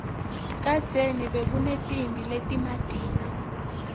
kadzeni bekunetimphi letimatima